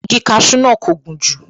Igi kasú náà kò gùn jù